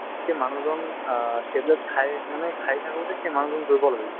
সেই মানুহজন অ tablet খাই মানে খাই থাকোতে সেই মানুহজন দুৰ্বল হৈ যায়